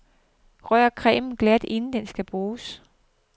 Rør cremen glat inden den skal bruges.